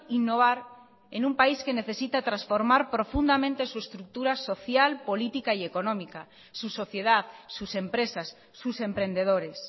innovar en un país que necesita transformar profundamente su estructura social política y económica su sociedad sus empresas sus emprendedores